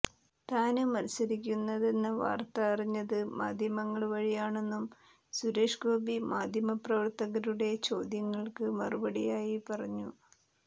താന് മത്സരിക്കുന്നെന്ന വാര്ത്ത അറിഞ്ഞത് മാധ്യമങ്ങള് വഴിയാണെന്നും സുരേഷ് ഗോപി മാധ്യമപ്രവര്ത്തകരുടെ ചോദ്യങ്ങള്ക്ക് മറുപടിയായി പറഞ്ഞു